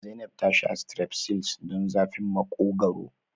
Zainab ta sha strepsils don zafin Maƙogwaro.